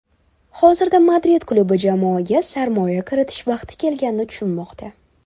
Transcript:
Hozirda Madrid klubi jamoaga sarmoya kiritish vaqti kelganini tushunmoqda.